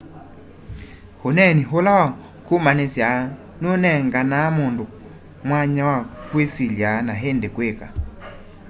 uneeni ũla wa kũmanĩsya nũnenganaa mũndũ mwanya wa kwĩsilya na ĩndĩ kwĩka